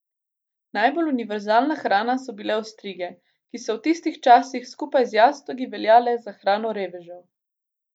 Najbolj univerzalna hrana so bile ostrige, ki so v tistih časih, skupaj z jastogi, veljale za hrano revežev.